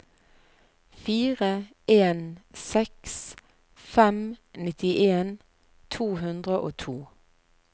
fire en seks fem nittien to hundre og to